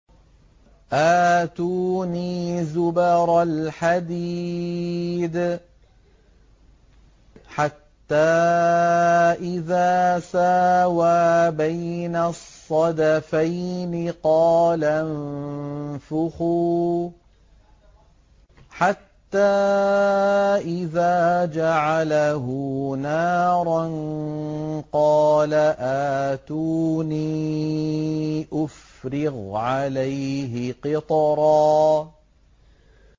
آتُونِي زُبَرَ الْحَدِيدِ ۖ حَتَّىٰ إِذَا سَاوَىٰ بَيْنَ الصَّدَفَيْنِ قَالَ انفُخُوا ۖ حَتَّىٰ إِذَا جَعَلَهُ نَارًا قَالَ آتُونِي أُفْرِغْ عَلَيْهِ قِطْرًا